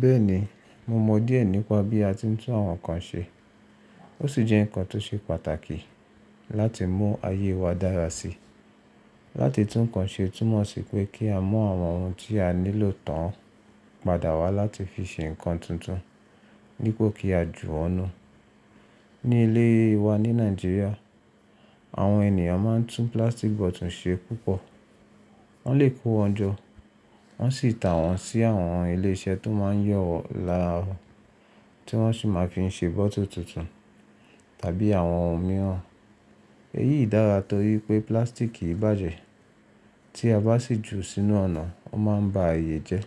Bẹ́ẹ̀ni, mo mọ díẹ̀ nípa bí a ti ń tún àwọn nǹkan ṣe. Ó sì jẹ́ ǹkan tó ṣe pàtàkì láti mú ayé wa dára sí i. Láti tún ǹkan ṣe túmọ̀ sí pé kí a mú àwọn ohun tí a nílò tán padà wá láti fi ṣe ǹkan tuntun dipo kí a jù won nú. Ní ilé wa ní Nàìjíríà, àwọn ènìyàn máa ń tún plastic bottle ṣe púpọ̀. Wọ́n lè kó wọn jọ, wọ́n sì ta wọ́n sí àwọn ilé iṣẹ́ tó máa ń yọ laárọ̀ tí wọ́n sì máa fi ṣe bottle tuntun tàbí àwọn ohun mìíràn. Èyí dára torí pé plastic kì í bàjẹ́. Tí a bá sì jù ú sínú ọ̀nà, ó máa ń ba ààyè jẹ́.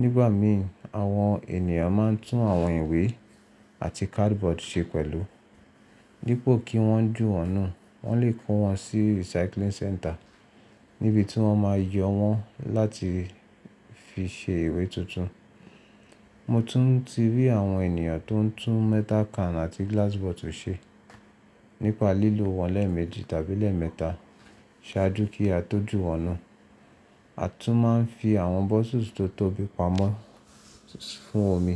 Nígbà mìí àwọn ènìyàn máa ń tún àwọn ìwé àti cardboard ṣe pẹ̀lú. Dipo kí wọ́n jù wọ́nú, wọ́n lè kó wọn sí recycling center níbi tí wọ́n máa yọ wọ́n láti fi ṣe ìwé tuntun. Mo tún ti rí àwọn ènìyàn tó ń tún metal can àti glass bottle ṣe. Nípa lílo wọ́n lẹ́ẹ̀meji tàbí lẹ́ẹ̀mẹta ṣáájú kí a tó jù wọ́nú. A tún máa ń fi àwọn bottles tó tóbi pamọ́ fún omi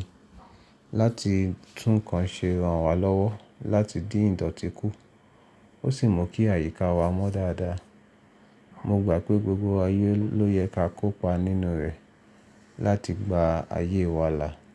láti tún ǹkan ṣe ran wa lọ́wọ́ láti dín ìdọ̀tí kú, ó sì mú kí àyíká wa mọ́ dáadáa. Mo gbà pé gbogbo wa ló yẹ ká kópa nínú rẹ̀ láti gba ayé wa là.